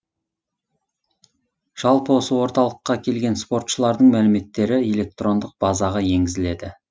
жалпы осы орталыққа келген спортшылардың мәліметтері электрондық базаға енгізіледі